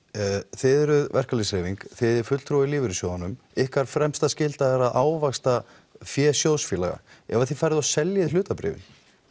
þið eruð verkalýðshreyfing þið eigið fulltrúa í lífeyrissjóðunum ykkar fremsta skylda er að ávaxta fé sjóðsfélaga ef þið seljið hlutabréfin